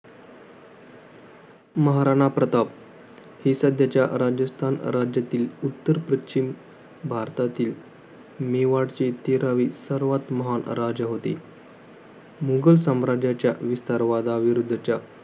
महाराणा प्रताप. हे सध्याच्या राजस्थान राज्यातील, उत्तर पश्चिम भारतातील मेवाडचे तेरावे, सर्वात महान राजा होते. मुघलसाम्राज्याच्या विस्तार वादाविरुद्धाच्या